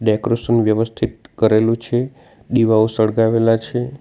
Decoration વ્યવસ્થિત કરેલું છે દીવાઓ સળગાવેલા છે.